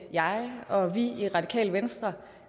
jeg og vi i radikale venstre